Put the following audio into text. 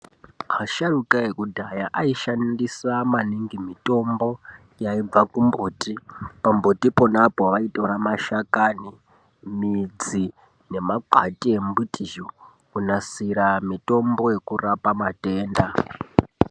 Asharukwa ekudhaya aishandisa maningi mitombo yaibva kumumbuti .Pambuti ponapo vanotora mashakani midzi nemakwati emuti kunasira mitombo yekurapa matenda.